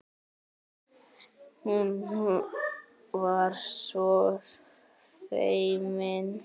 Hún var svo feimin.